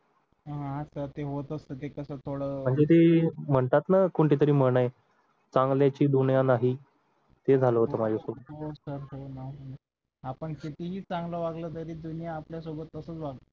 हा असं ते होतं तसं थोडं म्हणजे ते म्हणतात ना कोणत्या तरी म्हण आहे चांगली ची दुनिया नाही ते झालं होतं माझ्यासोबत हो sir हो ना आपण कितीही चांगलं वागलं तरी दुनिया आपल्या सोबत तसेच वागण